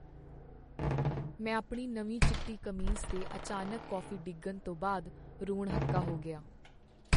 ਮੈਂ ਆਪਣੀ ਨਵੀਂ ਚਿੱਟੀ ਕਮੀਜ਼ 'ਤੇ ਅਚਾਨਕ ਕੌਫ਼ੀ ਡਿੱਗਣ ਤੋਂ ਬਾਅਦ ਰੋਣ ਹੱਕਾ ਹੋ ਗਿਆ।